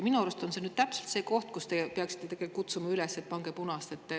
Minu arust on see täpselt see koht, kus te peaksite ikkagi kutsuma üles, et pange punast.